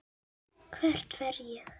Hvert fer ég?